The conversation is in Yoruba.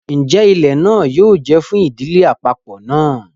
Njẹ ilẹ náà yóò jẹ fún ìdílé àpapọ náà?